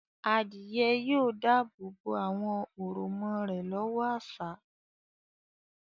Adìyẹ yóò dáàbò bo àwọn òròmọ rẹ̀ lọ́wọ́ àṣá.